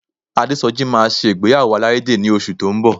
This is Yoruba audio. Adésọjí máa ṣe ìgbéyàwó alárédè ní oṣù tó ń bọ̀